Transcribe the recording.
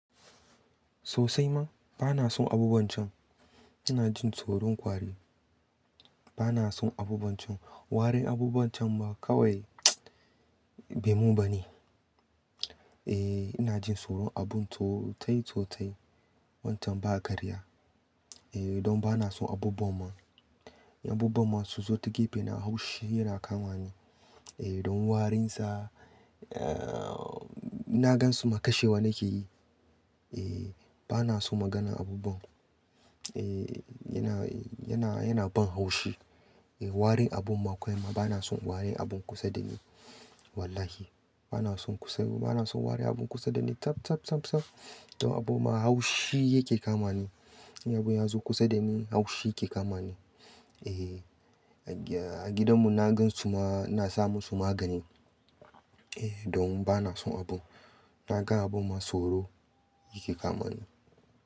Sosai ma, bana son abubuwan can. Ina jin tsoron kwari. Bana son abubuwan can. Warin abubuwan can ma kawai bai mun ba ne. Eh, ina jin tsoron abun totai totai. Wancan ba karya. Eh, don bana son abubuwan ma. Abubuwan ma su zo ta gefe na haushi yana kama ni. Eh, don warinsa, eh, na gan su ma kashewa nake yi. Eh, bana so maganan abubuwan. Eh, yana, yana, yana ban haushi. Eh, warin abun ma kawai ma bana son warin abun kusa da ni. Wallahi bana son kusa, bana son warin abun kusa da ni tap, tap, tap, tap. Don abubuwan ma haushi yake kama ni. In abun ya zo kusa da ni haushi yake kama ni. Eh, a gidan mu na gan su ma, na sa mu su magani. Eh, don bana son abun. Na ga abun ma tsoro yake kama ni.